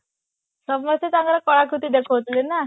ସବୁ ଆସି ତାଙ୍କର କଳାକୃତି ଦେଖୋଉଥିଲେ ନା